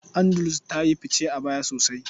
Andalus ta yi fice a baya sosai.